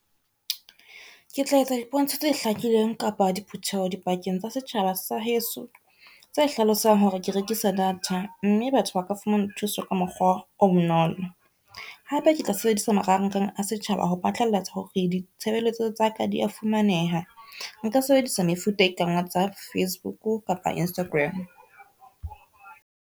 Ke tla etsa dipontsho tse hlakileng kapa diphutheho di pakeng tsa setjhaba sa heso, tse hlalosang hore ke rekisa data mme batho ba ka fumana thuso ka mokgwa o bonolo. Hape ke tla sebedisa marangrang a setjhaba ho phatlalatsa hore ditshebeletso tsa ka dia fumaneha. Nka sebedisa mefuta e kang WhatsApp, Facebook kapa Instagram.